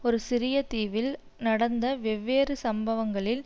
ஒரு சிறிய தீவில் நடந்த வெவ்வேறு சம்பவங்களில்